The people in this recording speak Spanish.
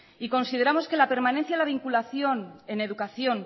y consideramos que la permanencia a la vinculación en educación